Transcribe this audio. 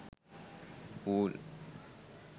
pool